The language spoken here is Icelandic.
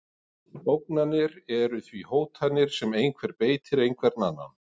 Ógnanir eru því hótanir sem einhver beitir einhvern annan.